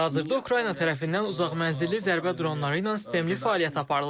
Hazırda Ukrayna tərəfindən uzaq mənzilli zərbə dronları ilə sistemli fəaliyyət aparılır.